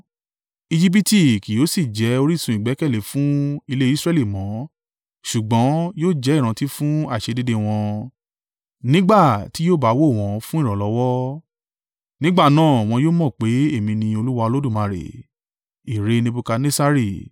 Ejibiti kí yóò sì jẹ orísun ìgbẹ́kẹ̀lé fún ilé Israẹli mọ́ ṣùgbọ́n, yóò jẹ́ ìrántí fún àìṣedéédéé wọn, nígbà tí yóò bá wò wọ́n fún ìrànlọ́wọ́. Nígbà náà, wọn yóò mọ̀ pé èmi ni Olúwa Olódùmarè.’ ”